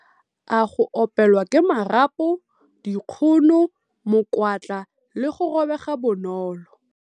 A - Go opelwa ke marapo, dikgono, mokwatla le go robega bonolo.